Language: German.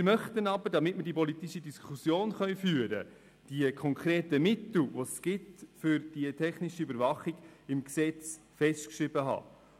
Wir möchten aber, damit wir die politische Diskussion führen können, die konkreten Mittel, die zur Überwachung zur Verfügung stehen, im Gesetz festgeschrieben haben.